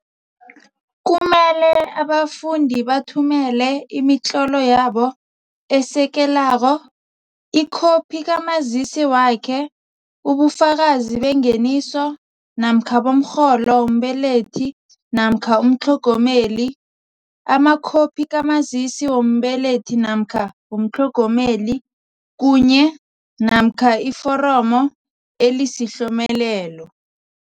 Kumele abafundi bathumele imitlolo yabo esekelako, ikhophi kaMazisi wakhe, ubufakazi bengeniso namkha bomrholo wombelethi namkha umtlhogomeli, amakhophi kaMazisi wombelethi namkha womtlhogomeli, kunye, namkha iforomo elisiHlomelelo.